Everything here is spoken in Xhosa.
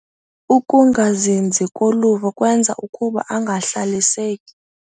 Ukungazinzi koluvo kwenza ukuba angahlaliseki.